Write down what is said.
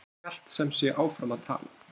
En hún hélt sem sé áfram að tala